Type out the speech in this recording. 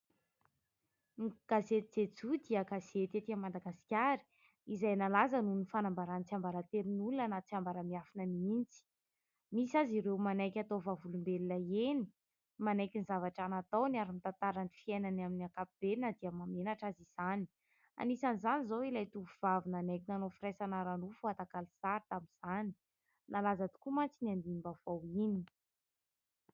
Ny gazety ''Jejo'' dia gazety etỳ Madagasikara, izay nalaza noho ny fanambarany tsiambaratelon'olona na tsiambara-miafina mihitsy, misy azy ireo manaiky atao vavolombelona eny manaiky ny zavatra nataony ary mitantara ny fiainany amin'ny ankapobeny na dia mahamenatra azy izany, anisan'izany izao ilay tovovavy nanaiky nanao firaisana ara-nofo atakalo sary tamin'izany, nalaza tokoa mantsy iny andinim-baovao iny.